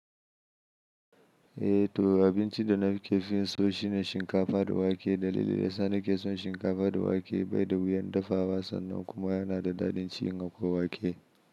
Eh to, abinci da nake fin so shine shinkafa da wake. Dalili da yasa nake son shinkafa da wake bai da wuyan dafawa sannan kuma yana da daɗin ci in akwai wake.